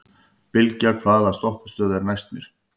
Bylgja, hvaða stoppistöð er næst mér?